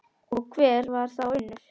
Og hver var þá Unnur?